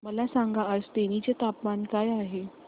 मला सांगा आज तेनी चे तापमान काय आहे